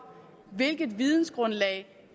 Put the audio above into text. hvilket vidensgrundlag